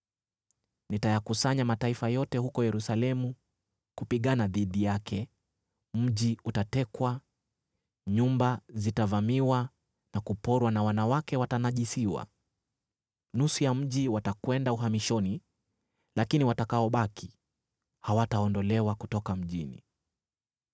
Nitayakusanya mataifa yote huko Yerusalemu kupigana dhidi yake, mji utatekwa, nyumba zitavamiwa na kuporwa na wanawake watanajisiwa. Nusu ya mji watakwenda uhamishoni, lakini watakaobaki hawataondolewa kutoka mjini.